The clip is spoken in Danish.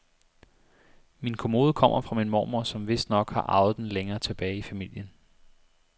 Min kommode kommer fra min mormor, som vistnok har arvet den længere tilbage i familien.